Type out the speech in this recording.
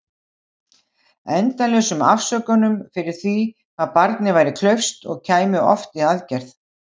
Endalausum afsökunum fyrir því hvað barnið væri klaufskt- og kæmi oft í aðgerð.